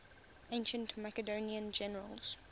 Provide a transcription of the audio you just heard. ancient macedonian generals